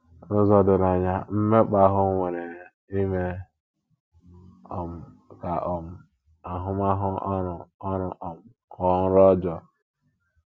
N’ụzọ doro anya ,mmekpa ahụ nwere ime um ka um ahụmahụ ọrụ ọrụ um ghọọ nro ojọọ.